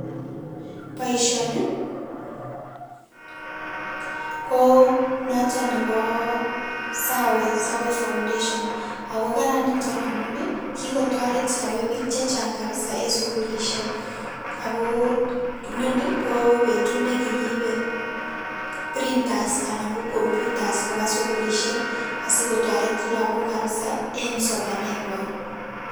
Boisioni ii ko naton nebo Sawe, Sawe foundation Ako kararan niton amun ii kikotoret sawe bik chechang kabiza enn sukilisiek akoo inoni ko betut ne kikiibe printers anan ko computers koba sukilisiek asikotoret Lagok kabiza enn somanengwan.